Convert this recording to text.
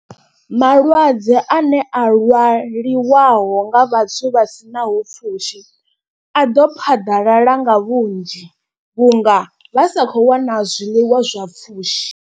Malwadze a ne a lwaliwaho nga vhathu vha sinaho pfhushi a ḓo phaḓalala nga vhunzhi. Vhunga vha sa kho wana zwiḽiwa zwa pfushi.